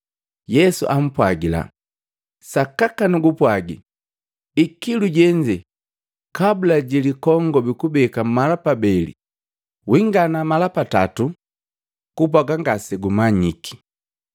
Yesu ampwagila, “Sakaka nugupwagi, ikilu jenze, kabula ji likongobi kubeka mala pabeli, wingana mala patato ngati ngasegumanyiki.”